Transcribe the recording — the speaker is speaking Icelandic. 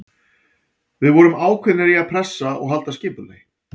Við vorum ákveðnir í að pressa og halda skipulagi.